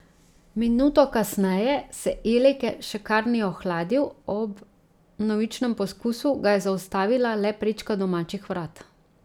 Minuto kasneje se Eleke še kar ni ohladil, ob vnovičnem poskusu ga je zaustavila le prečka domačih vrat.